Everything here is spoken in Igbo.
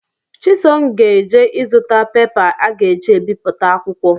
Chisom ga-eje ịzụta pepa a ga-eji ebiputa akwụkwọ